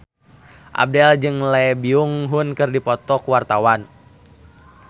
Abdel jeung Lee Byung Hun keur dipoto ku wartawan